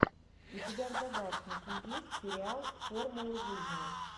у тебя в загашнике есть сериал формула жизни